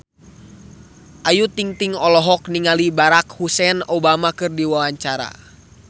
Ayu Ting-ting olohok ningali Barack Hussein Obama keur diwawancara